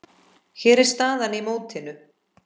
Hér er staðan í mótinu.